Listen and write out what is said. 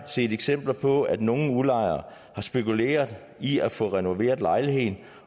set eksempler på at nogle udlejere har spekuleret i at få renoveret lejligheden